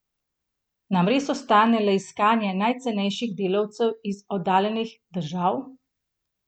Nam res ostane le iskanje najcenejših delavcev iz oddaljenih držav?